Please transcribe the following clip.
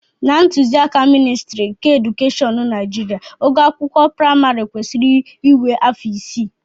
Na ntụziaka ministrị keedukeshọn Naijiria, ogo akwụkwọ praịmarị kwesịrị iwe afọ isii